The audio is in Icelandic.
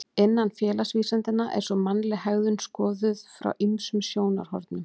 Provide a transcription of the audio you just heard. Innan félagsvísindanna er svo mannleg hegðun skoðuð frá ýmsum sjónarhornum.